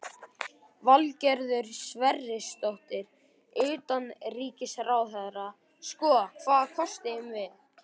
Valgerður Sverrisdóttir, utanríkisráðherra: Sko, hvaða kosti eigum við?